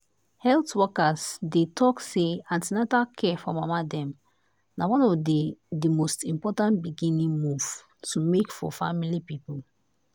health workers dey talk say an ten atal care for mama dem na one of the the most important beginning move to make for family people.